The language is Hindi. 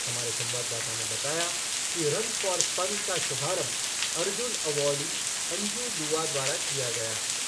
हमारे संवाददाता ने बताया कि रन फ़ॉर फ़न का शुभारंभ अर्जुन अवॉर्डी अंजू दुआ द्वारा किया गया।